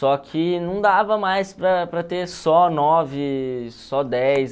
Só que não dava mais para para ter só nove, só dez.